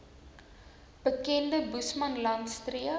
bekende boesmanland streek